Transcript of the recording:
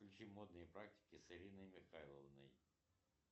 включи модные практики с ириной михайловной